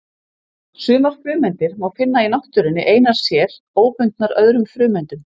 Sumar frumeindir má finna í náttúrunni einar sér, óbundnar öðrum frumeindum.